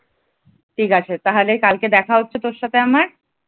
ঠিক আছে তাহলে কালকে দেখা হচ্ছে তোর সাথে আমার?